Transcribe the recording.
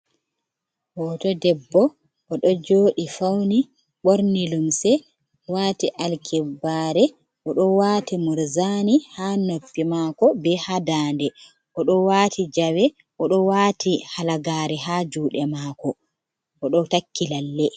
Hoto debbo o ɗo joɗi fauni ɓorni lumse wati alkibare o do wati murzani ha noppi mako be ha ndande odo wati jawe odo wati halagare ha juɗe mako odo takki lalle.